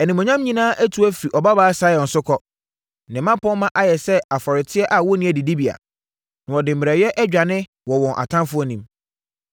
Animuonyam nyinaa atu afiri Ɔbabaa Sion so kɔ. Ne mmapɔmma ayɛ sɛ aforoteɛ a wɔnnya adidibea; na wɔde mmerɛyɛ adwane wɔ wɔn ataafoɔ anim.